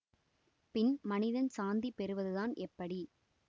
பின் மனிதன் சாந்தி பெறுவதுதான் எப்படி